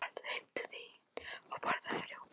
Farðu heim til þín og borðaðu rjóma.